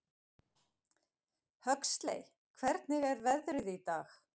Huxley, hvernig er veðrið í dag?